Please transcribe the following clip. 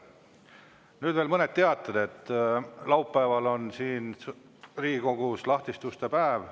Nüüd veel mõned teated, et laupäeval on siin Riigikogus lahtiste uste päev.